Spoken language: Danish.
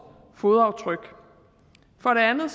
fodaftryk for det andet